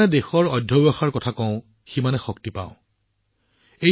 আমি যিমানে দেশৰ পৰিশ্ৰমৰ কথা কওঁ সিমানে আমি অধিক শক্তি আহৰণ কৰোঁ